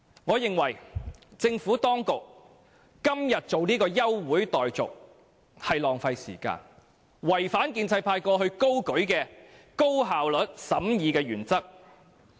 我認為，政府當局今天提出休會待續的議案是浪費時間，違反建制派過往高舉的高效率審議法案的原則。